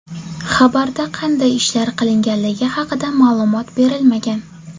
Xabarda qanday ishlar qilinganligi haqida ma’lumot berilmagan.